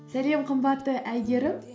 сәлем қымбатты әйгерім